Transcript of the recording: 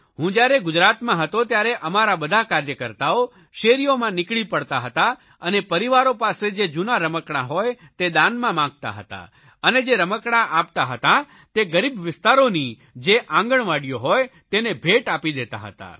હું જયારે ગુજરાતમાં હતો ત્યારે અમારા બધા કાર્યકર્તાઓ શેરીઓમાં નીકળી પડતા હતા અને પરિવારો પાસે જે જૂના રમકડા હોય તે દાનમાં માગતા હતા અને જે રમકડા આપતા હતા તે ગરીબ વિસ્તારોની જે આંગણવાડીઓ હોય તેને બેટ આપી દેતા હતા